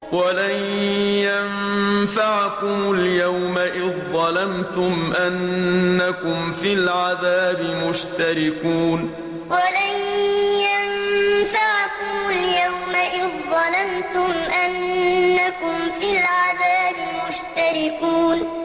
وَلَن يَنفَعَكُمُ الْيَوْمَ إِذ ظَّلَمْتُمْ أَنَّكُمْ فِي الْعَذَابِ مُشْتَرِكُونَ وَلَن يَنفَعَكُمُ الْيَوْمَ إِذ ظَّلَمْتُمْ أَنَّكُمْ فِي الْعَذَابِ مُشْتَرِكُونَ